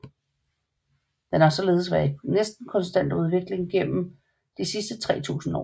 Den har således været i næsten konstant udvikling gennem de sidste 3000 år